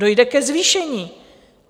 Dojde ke zvýšení.